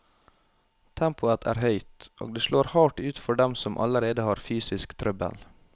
Tempoet er høyt, og det slår hardt ut for dem som allerede har fysisk trøbbel.